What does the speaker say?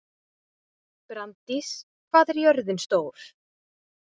Branddís, hvað er jörðin stór?